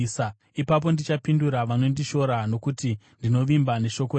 ipapo ndichapindura vanondishora, nokuti ndinovimba neshoko renyu.